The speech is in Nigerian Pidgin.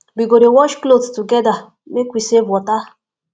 we go dey wash clothes togeda make we save water